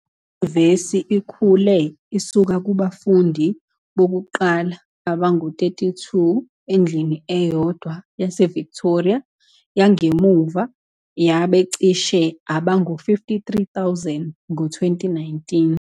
Inyuvesi ikhule isuka kubafundi bokuqala abangu-32 endlini eyodwa yaseVictoria yangemuva yaba cishe abangu-53,000 ngo-2019.